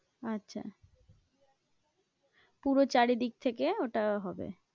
আচ্ছা পুরো চারিদিক থেকে ওটা হবে।